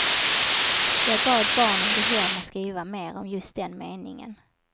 Jag bad barnen gå hem och skriva mer om just den meningen.